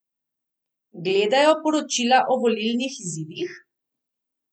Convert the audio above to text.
Gledajo poročila o volilnih izidih?